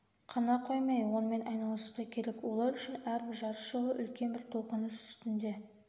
қана қоймай онымен айналысу да керек олар үшін әрбір жарыс жолы үлкен бір толқыныс үстінде